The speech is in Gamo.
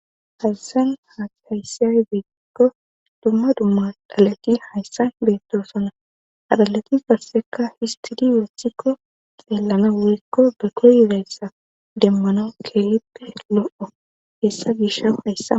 hazasan hatayssiyay beekikko dumma dumma dhalati hayssa beettosona adhalati karseka histidi wethikko xeellana woykko be koyidayssa demmanau kelippe lo7o hessa gisha hayssa